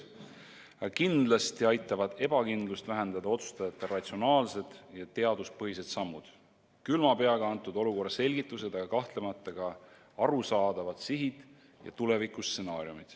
Aga kindlasti aitavad ebakindlust vähendada otsustajate ratsionaalsed ja teaduspõhised sammud, külma peaga antud olukorra selgitused, aga ka arusaadavad sihid ja tuleviku stsenaariumid.